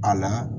A la